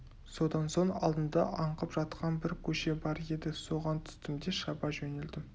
содан соң алдымда аңқып жатқан бір көше бар еді соған түстім де шаба жөнелдім